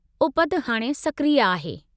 उपति हाणे सक्रिय आहे।